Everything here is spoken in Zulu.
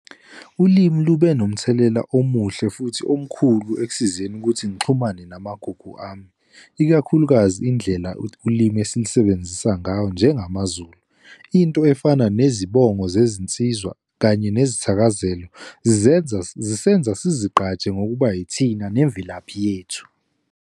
Ulimi lube nomthelela omuhle futhi omkhulu ekusizeni ukuthi ngixhumane namagugu ami, ikakhulukazi indlela ulimi esilisebenzisa ngayo njengamaZulu. Into efana nezibongo zezinsizwa, kanye nezithakazelo, zenza, zisenza sizigqaje ngokuba yithina, nemvelaphi yethu.